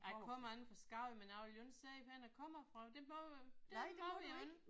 Jeg kommer inde fra Skagen men jeg vil jo ikke sige hvorhenne jeg kommer fra. Det må det må vi jo ikke